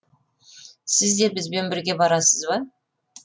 сіз де бізбен бірге барасыз ба